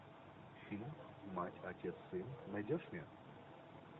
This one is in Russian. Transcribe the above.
фильм мать отец сын найдешь мне